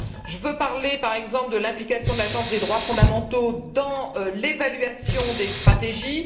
Je veux parler, par exemple de l'implication de l'Agence des droits fondamentaux dans l'évaluation des stratégies.